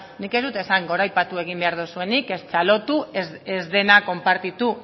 nik ez dut esan goraipatu egin behar dozuenik ez txalotu ez dena konpartitu